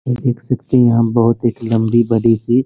यह एक सच्ची मोहब्बत एक लंबी थी।